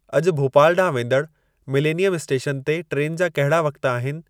अॼु भोपाल ॾांहुं वेंदड़ मिलेनियम स्टेशन ते ट्रेन जा कहिड़ा वक़्त आहिनि